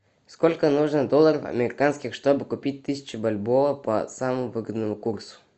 сколько нужно долларов американских чтобы купить тысячу бальбоа по самому выгодному курсу